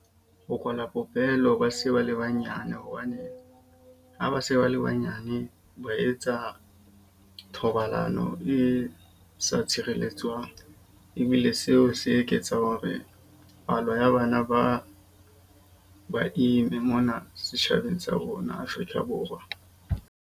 Ho kwala popelo ba se ba le banyane hobane ha ba se ba le banyane ba etsa thobalano e sa tshireletswang. Ebile seo se eketsang hore palo ya bana ba ba ime mona setjhabeng sa rona Afrika Borwa.